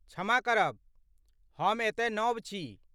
क्षमा करब, हम एतय नव छी।